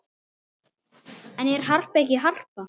En er Harpa ekki Harpa?